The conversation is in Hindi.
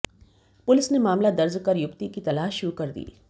पुलिस ने मामला दर्ज कर युवती की तलाश शुरु कर दी